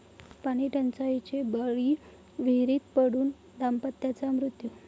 पाणीटंचाईचे बळी, विहिरीत पडून दाम्पत्याचा मृत्यू